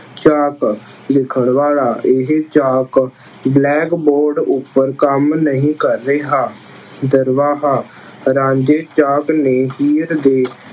ਚਾਕ- ਲਿਖਣ ਵਾਲਾ- ਇਹ ਚਾਕ blackboard ਉੱਪਰ ਕੰਮ ਨਹੀਂ ਕਰ ਰਿਹਾ। ਦਰਵਾਹਾ- ਰਾਂਝੇ ਚਾਕ ਨੇ ਹੀਰ ਦੇ